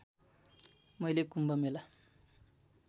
मैले कुम्भ मेला